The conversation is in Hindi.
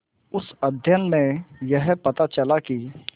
उस अध्ययन में यह पता चला कि